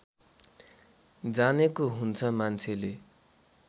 जानेको हुन्छ मान्छेले